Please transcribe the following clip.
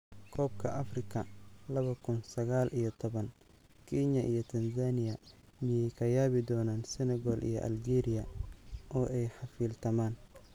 Koobka Afrika laba kun sagal iyo tobaan: Kenya iyo Tanzania miyay ka yaabi doonaan Senegal iyo Algeria oo ay xafiiltamaan?